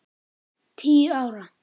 Tíu ára.